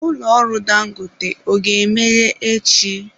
Ụlọ ọrụ Dangote ọ ga-emeghe echi?